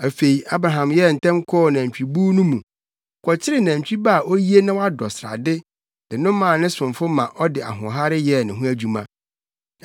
Afei, Abraham yɛɛ ntɛm kɔɔ nʼanantwibuw no mu, kɔkyeree nantwi ba a oye na wadɔ srade de no maa ne somfo ma ɔde ahoɔhare yɛɛ ne ho adwuma.